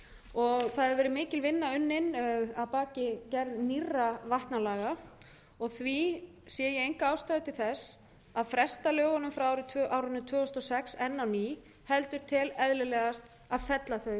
og það hefur verið mikil vinna unnin að baki gerðar nýrra vatnalaga og því sé ég enga ástæðu til þess að fresta lögunum frá árinu tvö þúsund og sex enn á ný heldur tel eðlilegast að fella þau einfaldlega